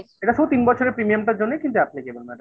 এটা শুধু তিন বছরের premium টার জন্যই কিন্তু applicable madam